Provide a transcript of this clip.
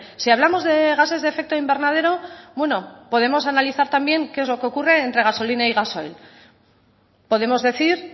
si hablamos de gases de efecto invernadero bueno podemos analizar también qué es lo que ocurre entre gasolina y gasoil podemos decir